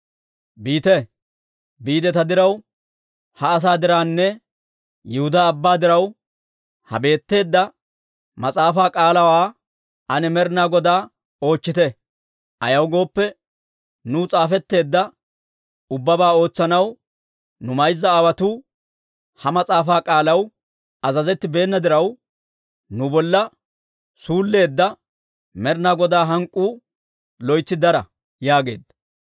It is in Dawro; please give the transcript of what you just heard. «Biite; ta diraw, ha asaa dirawunne Yihudaa ubbaa diraw, ha betteedda mas'aafaa k'aalaawaa ane Med'ina Godaa oochchite. Ayaw gooppe, nuw s'aafetteedda ubbabaa ootsanaw, nu mayza aawotuu ha mas'aafaa k'aalaw azazettibeena diraw, nu bolla suulleedda Med'ina Godaa hank'k'uu loytsi dara» yaageedda.